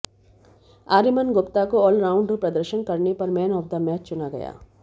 आर्यमन गुप्ता को all round प्रदर्शन करने पर मैन ऑफ द मैच चुना गया